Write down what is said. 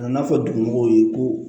A n'a fɔ dugu mɔgɔw ye ko